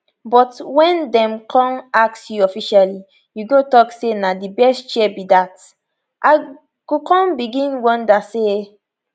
but wen dem con ask you officially you go tok say na di best chair be dat me i go con begin wonder say